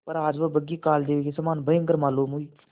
पर आज वह बग्घी कालदेव के समान भयंकर मालूम हुई